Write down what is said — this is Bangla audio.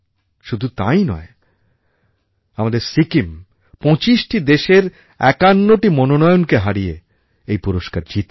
শুধু তাই নয় আমাদের সিকিম পঁচিশটি দেশের একান্নটি মনোনয়নকে হারিয়ে এই পুরস্কার জিতেছে